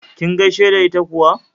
Kin gaishe da ita kuwa?